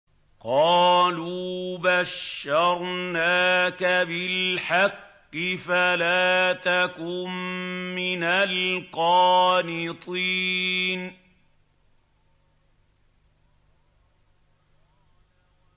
قَالُوا بَشَّرْنَاكَ بِالْحَقِّ فَلَا تَكُن مِّنَ الْقَانِطِينَ